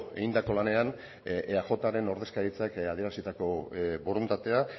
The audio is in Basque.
egindako lanean eajren ordezkaritzak adierazitako borondatea